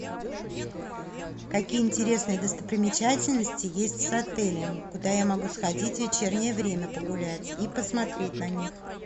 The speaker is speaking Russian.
какие интересные достопримечательности есть с отелем куда я могу сходить в вечернее время погулять и посмотреть на них